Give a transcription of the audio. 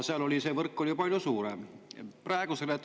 Seal oli see võrk palju.